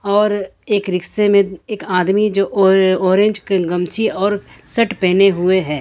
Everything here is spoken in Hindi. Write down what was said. और एक रिक्शे में एक आदमी जो और ऑरेंज गमछी और सट पहने हुए हैं।